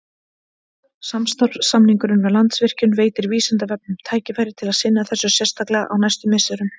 Samstarfssamningurinn við Landsvirkjun veitir Vísindavefnum tækifæri til að sinna þessu sérstaklega á næstu misserum.